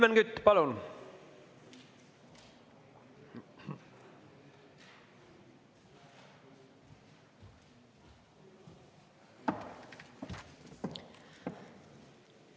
Helmen Kütt, palun!